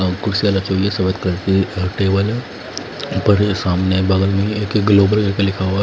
और कुर्सियां रखी हुई है सफेद कलर की और टेबल ऊपर सामने बगल में ये क्या ग्लोबल ये क्या लिखा हुआ है।